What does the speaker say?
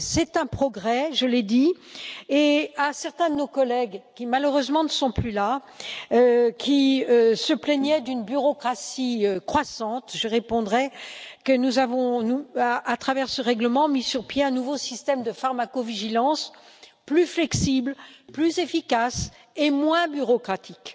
C'est un progrès je l'ai dit et à certains de nos collègues qui malheureusement ne sont plus là et qui se plaignaient d'une bureaucratie croissante, je répondrai qu'à travers ce règlement, nous avons mis sur pied un nouveau système de pharmacovigilance plus flexible, plus efficace et moins bureaucratique,